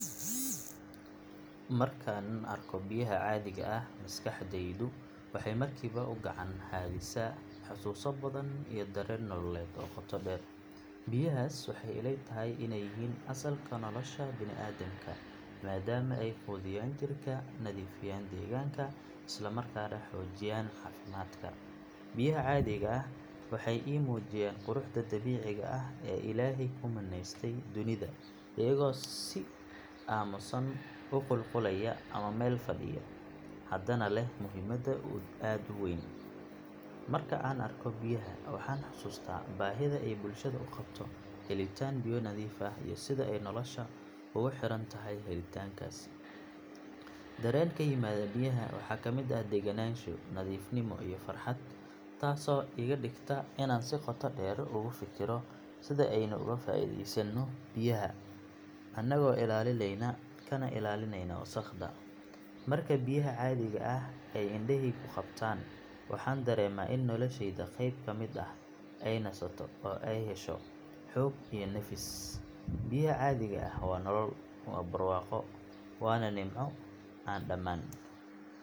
Markaan arko biyaha caadiga ah maskaxdaydu waxay markiiba u gacan haadisaa xasuuso badan iyo dareen nololeed oo qoto dheer. Biyahaas waxay ila tahay inay yihiin asalka nolosha bini'aadamka maadaama ay quudiyaan jirka, nadiifiyaan deegaanka isla markaana xoojiyaan caafimaadka. Biyaha caadiga ah waxay ii muujiyaan quruxda dabiiciga ah ee Ilaahay ku manaystay dunida iyagoo si aamusan u qulqulaya ama meel fadhiya haddana leh muhiimad aad u weyn. Marka aan arko biyaha waxaan xasuustaa baahida ay bulshada u qabto helitaan biyo nadiif ah iyo sida ay nolosha ugu xirantahay helitaankaasi. Dareen ka yimaada biyaha waxaa ka mid ah degganaansho, nadiifnimo iyo farxad taasoo iga dhigta inaan si qoto dheer ugu fikiro sida aynu uga faa’iidaysano biyaha annagoo ilaalinayna kana ilaalinayna wasakhda. Marka biyaha caadiga ah ay indhahaygu qabtaan waxaan dareemaa in noloshayda qayb ka mid ah ay nasato oo ay hesho xoog iyo nafis. Biyaha caadiga ah waa nolol, waa barwaaqo, waana nimco aan dhammaan.